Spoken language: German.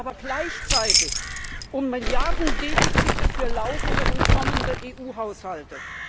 Er pokert aber gleichzeitig um Milliardendefizite für laufende und kommende EU Haushalte.